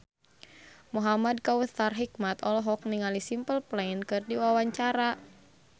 Muhamad Kautsar Hikmat olohok ningali Simple Plan keur diwawancara